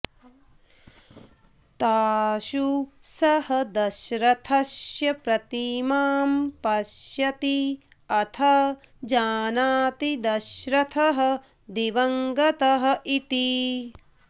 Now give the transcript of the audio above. तासु सः दशरथस्य प्रतिमां पश्यति अथ जानाति दशरथः दिवङ्गतः इति